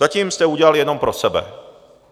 Zatím jste udělali jenom pro sebe.